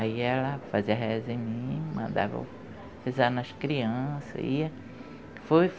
Aí ela fazia reza em mim, mandava eu rezar nas crianças.